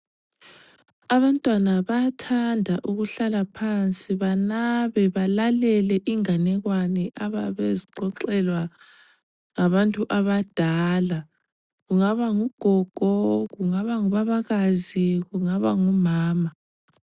Abantwana bayathanda ukuhlala phansi banabe balalele inganekwane abayabe bezixoxelwa ngabantu abadala, kungaba ngugogo , kungaba ngubabakazi kungaba ngumama.